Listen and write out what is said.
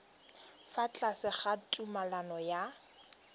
fa tlase ga tumalano ya